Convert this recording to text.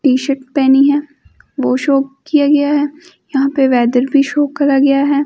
T shirt पहनी है वो शो किया गया है यहां पे वेदर भी शो करा गया है।